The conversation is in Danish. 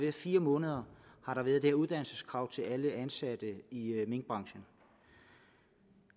i fire måneder har været det uddannelseskrav til alle ansatte i minkbranchen